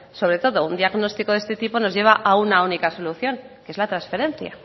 sobre todo un diagnóstico de este tipo nos lleva a una única solución que es la transferencia